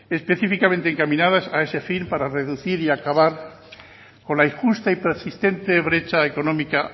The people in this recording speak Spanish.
específicamente encaminadas a este fin para reducir y acabar con la injusta y persistente brecha económica